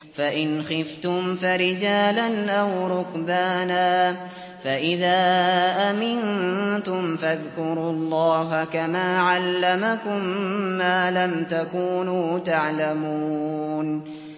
فَإِنْ خِفْتُمْ فَرِجَالًا أَوْ رُكْبَانًا ۖ فَإِذَا أَمِنتُمْ فَاذْكُرُوا اللَّهَ كَمَا عَلَّمَكُم مَّا لَمْ تَكُونُوا تَعْلَمُونَ